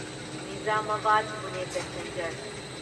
Nizamabad Pune passenger